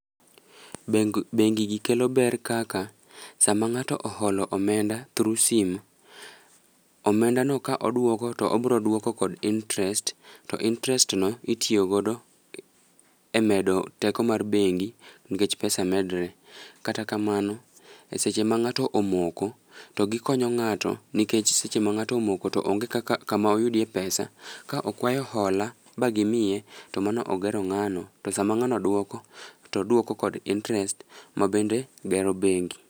Beng bengi gi kelo ber kaka sama ng'ato oholo omenda through sim, omenda no ka oduoko to obro duoko kod interest. To interest no itiyo godo e medo teko mar bengi nikech pesa medre. Kata kamano, e seche ma ng'ato omoko, to gikonyo ng'ato nikech seche ma ng'ato omoko to onge kaka kama oyudie pesa. Ka okwayo hola ba gimiye to mano ogero ng'ano, to sama ng'ano dwoko, to dwoko kod interest ma bende gero bengi.